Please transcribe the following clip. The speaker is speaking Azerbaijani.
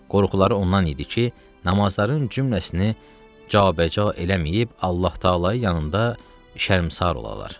Qorxuları ondan idi ki, namazların cümləsini cabəca eləməyib, Allah Təalanın yanında şərmsər olalar.